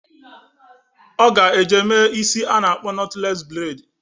Ọ ga eje eme isi a na-akpọ nọtlees breid